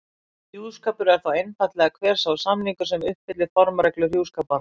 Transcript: Hjúskapur er þá einfaldlega hver sá samningur sem uppfyllir formreglur hjúskaparlaga.